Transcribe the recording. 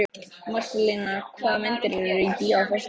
Marselína, hvaða myndir eru í bíó á föstudaginn?